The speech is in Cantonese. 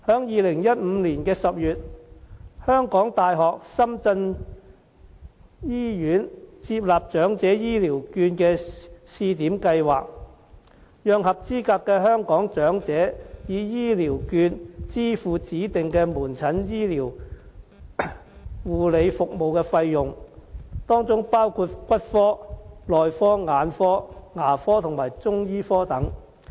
2015年10月，香港大學深圳醫院接納長者醫療券的試點計劃，讓合資格的香港長者以醫療券支付指定的門診醫療護理服務的費用，當中包括骨科、內科、眼科、牙科和中醫科等。